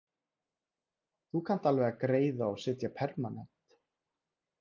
Þú kannt alveg að greiða og setja permanent